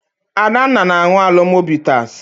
Adanna na-aṅụ Alomo bitas.